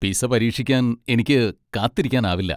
Pizza പരീക്ഷിക്കാൻ എനിക്ക് കാത്തിരിക്കാനാവില്ല.